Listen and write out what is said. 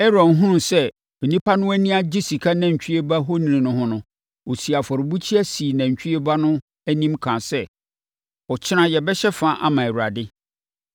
Aaron hunuu sɛ nnipa no ani agye sika nantwie ba ohoni no ho no, ɔsii afɔrebukyia sii nantwie ba no anim kaa sɛ, “Ɔkyena yɛbɛhyɛ fa ama Awurade.”